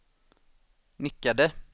nickade